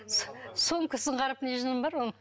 сөмкесін қарап не жыным бар оның